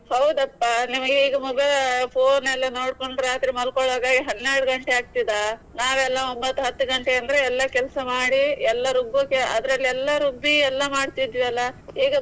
ಹೌದಪ್ಪ ನಿಮ್ಗೆ ಈಗ mobile ಆ phone ಎಲ್ಲಾ ನೋಡ್ಕೊಂಡು ರಾತ್ರಿ ಮಲ್ಕೋಳ್ಳುವಾಗ ಹನ್ನೆರಡು ಗಂಟೆ ಆಗ್ತದಾ. ನಾವ್ ಎಲ್ಲಾ ಒಂಬತ್ತ್ ಹತ್ತ್ ಗಂಟೆ ಅಂದ್ರೆ ಎಲ್ಲಾ ಕೆಲ್ಸ ಮಾಡಿ ಎಲ್ಲಾ ರುಬ್ಬುಕ್ಕೆ ಅದ್ರಲ್ಲಿ ಎಲ್ಲಾ ರುಬ್ಬಿ ಎಲ್ಲಾ ಮಾಡ್ತಿದ್ವಿ ಅಲ್ಲ ಈಗ.